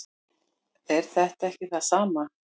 er þetta ekki það sama